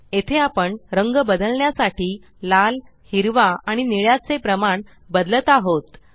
येथे आपण रंग बदलण्यासाठी लाल हिरवा आणि निळ्याचे प्रमाण बदलत आहोत